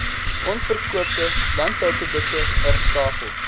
onverkoopte landbouprodukte herstapel